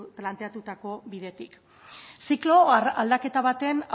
planteatutako bidetik ziklo aldaketa baten